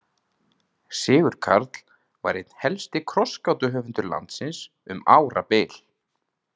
Sigurkarl var einn helsti krossgátuhöfundur landsins um árabil.